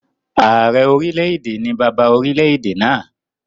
Ààrẹ orílẹ̀-èdè ni bàbá orilẹ̀-èdè náà